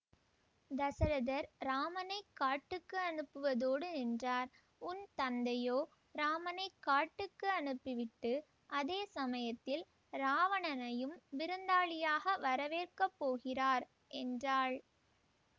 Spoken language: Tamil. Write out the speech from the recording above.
தசரதர் இராமனை காட்டுக்கு அனுப்புவதோடு நின்றார் உன் தந்தையோ இராமனை காட்டுக்கு அனுப்பி விட்டு அதே சமயத்தில் இராவணனையும் விருந்தாளியாக வரவேற்கப் போகிறார் என்றாள்